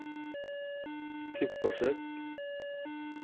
kuppforsøket